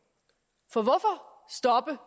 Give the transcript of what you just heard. for hvorfor stoppe